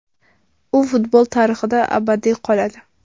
U futbol tarixida abadiy qoladi.